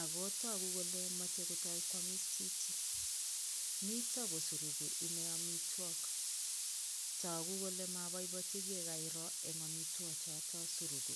ako tuku kole moche kotoi kwomis chichi, mito kosuruku ine amitwok, toku kole maboibochi eng amitwokichoto suruku.